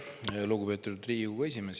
Aitäh, lugupeetud Riigikogu esimees!